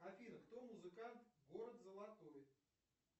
афина кто музыкант город золотой